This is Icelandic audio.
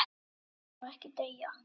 En hún má ekki deyja.